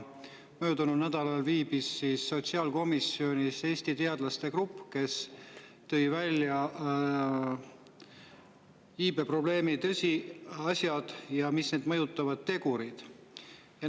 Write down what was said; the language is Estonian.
Möödunud nädalal viibis sotsiaalkomisjonis Eesti teadlaste grupp, kes tõi välja iibeprobleemi tõsiasjad ja iivet mõjutavad tegurid.